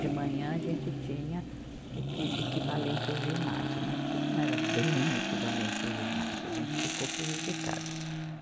De manhã a gente tinha o que, equivalente ao ginásio, mas que não era bem equivalente ao ginásio, a gente ficou prejudicado.